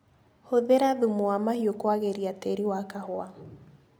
Hũthĩra thumu wa mahiũ kwagĩria tĩri wa kahũa.